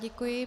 Děkuji.